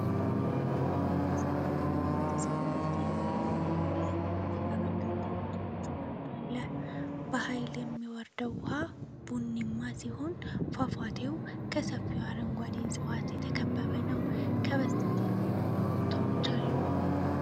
ሰፊው የጢስ ፏፏቴ (አባይ) በበርካታ ቦታዎች ወርዶ አለ። በኃይል የሚወርደው ውሃ ቡኒማ ሲሆን፣ ፏፏቴው በሰፊ አረንጓዴ ዕፅዋት የተከበበ ነው። ከበስተጀርባ ኮረብታዎች አሉ።